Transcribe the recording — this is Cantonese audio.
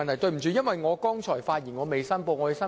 抱歉，我剛才發言時未有作出申報。